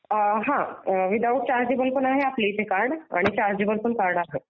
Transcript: हां without chargeable पण आहे आपल्याकडे कार्ड आणि चार्जेबल पण आहे.